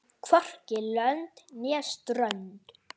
Hvorki lönd né strönd.